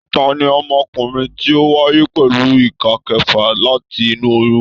Tani ọmọkùnrin tí o wáyé pẹlú ìká kẹfà láti inú oyún?